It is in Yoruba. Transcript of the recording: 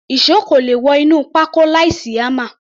Ìṣó kò le wọ inú pákó láìsí hámà.